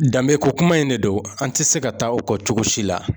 Danbekokuma in de don an tɛ se ka taa o kɔ cogo si la